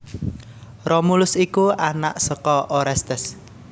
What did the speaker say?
Romulus iku anak saka Orestes